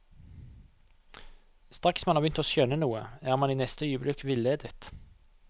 Straks man har begynt å skjønne noe, er man i neste øyeblikk villedet.